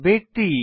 ব্যক্তি